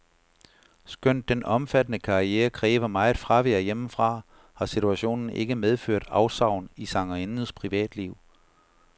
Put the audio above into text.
Skønt den omfattende karriere kræver meget fravær hjemmefra, har situationen ikke medført afsavn i sangerindens privatliv.